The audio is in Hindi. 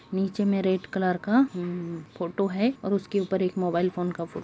निचे में रेड कलर का फोटो है उसके ऊपर एक मोबाईल का फोटो --